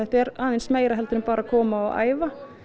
er aðeins meira heldur en bara að koma og æfa